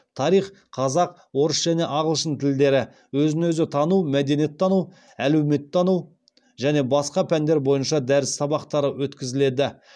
тарих қазақ орыс және ағылшын тілдері өзін өзі тану мәдениеттану әлеуметтану және басқа пәндер бойынша дәріс сабақтары өткізіледі